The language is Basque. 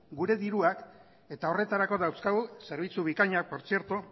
gure dirua eta horretarako dauzkagu zerbitzu bikainak